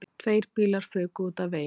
Tveir bílar fuku út af vegi